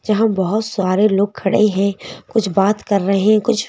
जहां बहुत सारे लोग खड़े हैं कुछ बात कर रहे हैं कुछ --